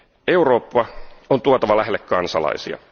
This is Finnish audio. Eurooppa on tuotava lähelle kansalaisia.